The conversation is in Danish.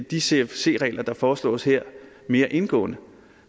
de cfc regler der foreslås her mere indgående